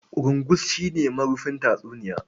Ƙurungus shi ne marufin tatsuniya.